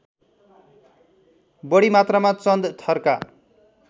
बढी मात्रामा चन्द थरका